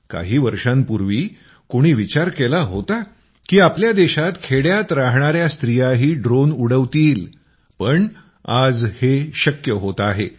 काही वर्षांपूर्वी कोणी विचार केला होता की आपल्या देशात खेड्यात राहणाऱ्या स्त्रियाही ड्रोन उडवतील पण आज हे शक्य होत आहे